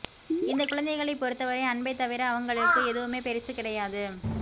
இந்தக் குழந்தைகளைப் பொறுத்தவரை அன்பைத் தவிர அவங்களுக்கு எதுவுமே பெரிசு கிடையாது